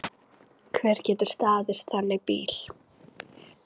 Hver getur staðist þannig bíl?